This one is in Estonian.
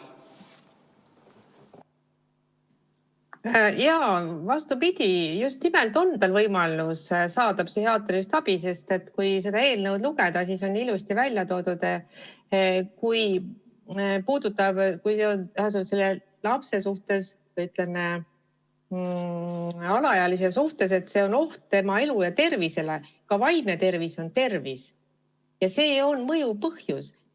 Vastupidi, just nimelt on tal võimalus saada psühhiaatrilist abi, sest kui seda eelnõu lugeda, siis siin on ilusasti välja toodud, et kui lapse, alaealise puhul esineb oht tema elule või tervisele, ka vaimne tervis on tervis, siis see on mõjuv põhjus.